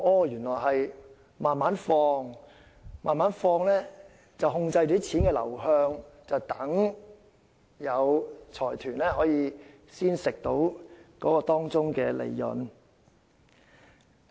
原來是要慢慢投放，這樣便可控制錢的流向，讓財團得以從中獲利。